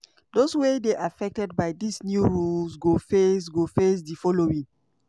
dose wey dey affected by dis new rules go face go face di following: